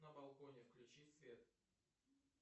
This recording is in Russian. на балконе включи свет